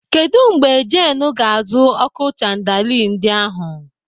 Kedụ mgbe Jeenu ga-azụ ọ́kụ́ chandali ndị ahụ?